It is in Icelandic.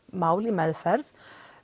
mál í meðferð